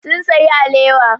Sun sayi alewa.